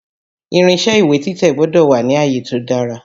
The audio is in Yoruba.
Irinṣé ìwé títẹ̀ gbọ́dọ̀ wà ni àyè tó dára.